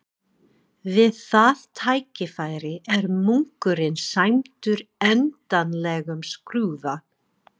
Við það tækifæri er munkurinn sæmdur endanlegum skrúða.